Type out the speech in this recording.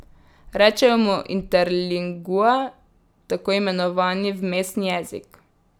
Rečejo mu interlingua, tako imenovani vmesni jezik.